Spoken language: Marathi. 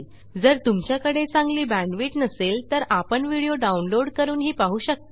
जर तुमच्याकडे चांगली बॅण्डविड्थ नसेल तर आपण व्हिडिओ डाउनलोड करूनही पाहू शकता